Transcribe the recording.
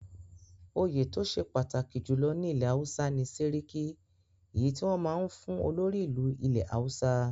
Òye tó ṣe pàtàkì jùlọ ní ilẹ̀ Hausa ni Séríkí èyí tí wọn máa ń fún olórí ìlú ilẹ̀ Hausa.